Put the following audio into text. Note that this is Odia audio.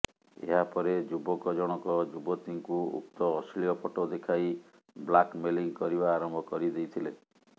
ଏହାପରେ ଯୁବକ ଜଣକ ଯବତୀଙ୍କୁ ଉକ୍ତ ଅଶ୍ଲୀଳ ଫଟୋ ଦେଖାଇ ବ୍ଲାକମେଲିଙ୍ଗ କରିବା ଆରମ୍ଭ କରିଦେଇଥିଲେ